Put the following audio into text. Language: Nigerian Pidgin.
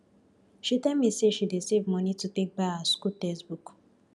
she tell me say she dey save money to take buy her school textbook